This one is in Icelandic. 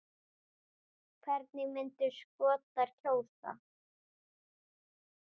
Hvernig myndu Skotar kjósa?